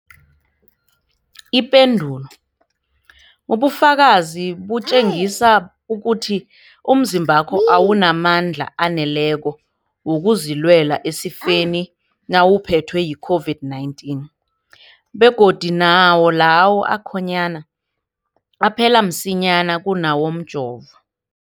Ipendulo, ubufakazi butjengisa ukuthi umzimbakho awunamandla aneleko wokuzilwela esifeni nawuphethwe yi-COVID-19, begodu nawo lawo akhonyana aphela msinyana kunawomjovo.